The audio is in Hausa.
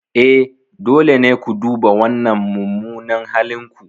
E, dole ne ku duba wannan mummunan halin ku.